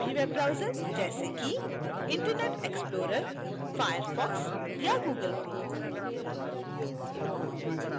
कोई भी web browser जैसे कि internet explorer firefox या google chrome